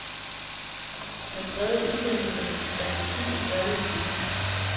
Han prægede udsendelserne med sin fantasi og særlige kunnen.